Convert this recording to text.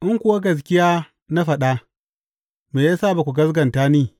In kuwa gaskiya na faɗa, me ya sa ba kwa gaskata ni?